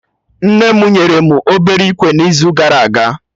Nne mụ nyere mụ obere ikwe n'izu gara aga